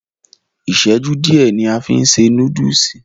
Iṣẹju diẹ ni a fí n se núdùùsì.